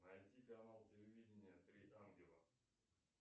найти канал телевидения три ангела